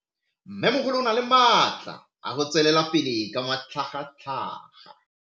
Mmemogolo o na le matla a go tswelela pele ka matlhagatlhaga.